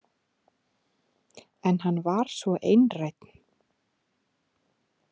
En hann var svo einrænn.